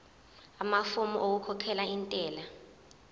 amafomu okukhokhela intela